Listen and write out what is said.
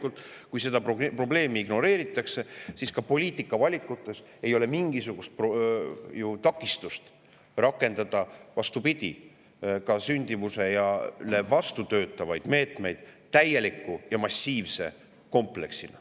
Aga kui seda probleemi ignoreeritakse, siis loomulikult ka poliitikavalikuid ei ole mingisugust takistust rakendada, vastupidi, sündimusele vastu töötavaid meetmeid täieliku ja massiivse kompleksina.